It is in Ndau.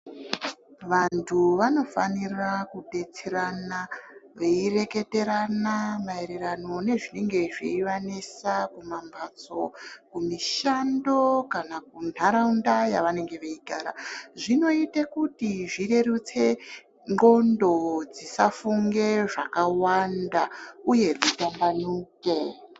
Vantu vanofanira kubetserana veireketerana maererano nezvinenge zveivanesa kumamhatso, kumishando kana kuntaraunda yevanenge veigara zvinoite kuti zvirerutse ndxondo, dzisafunge zvakawanda uye dzitambanuke.